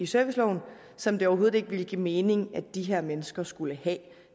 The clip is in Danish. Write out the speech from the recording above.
serviceloven som det overhovedet ikke ville give mening at de her mennesker skulle have